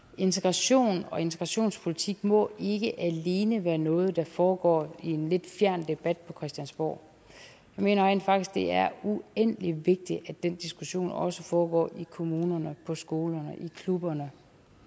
integration og integrationspolitik må ikke alene være noget der foregår i en lidt fjern debat på christiansborg jeg mener rent faktisk det er uendelig vigtigt at den diskussion også foregår i kommunerne på skolerne i klubberne